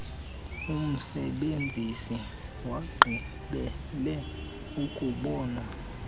umsebenzisi wagqibela ukubonwa